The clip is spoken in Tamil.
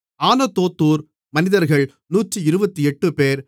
ஆனதோத்தூர் மனிதர்கள் 128 பேர்